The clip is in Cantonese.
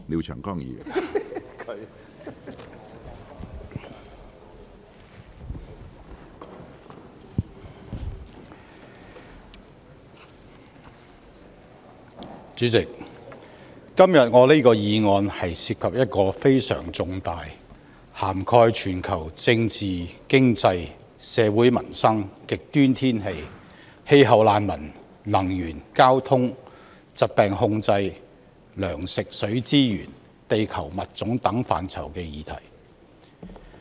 主席，今天我這項議案涉及一個非常重大，涵蓋全球政治、經濟、社會民生、極端天氣、氣候難民、能源、交通、疾病控制、糧食、水資源、地球物種等範疇的議題。